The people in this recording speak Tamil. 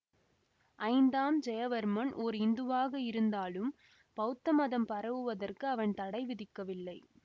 ஐந்தாம் ஜெயவர்மன் ஓர் இந்துவாக இருந்தாலும் பௌத்த மதம் பரவுவதற்கு அவன் தடை விதிக்கவில்லை